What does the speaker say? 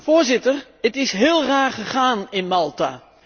Voorzitter, het is heel raar gegaan in Malta.